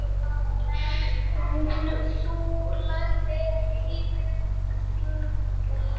Þú lagðir lífið þannig upp.